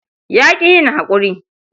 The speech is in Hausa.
Ya ƙi yin haƙuri.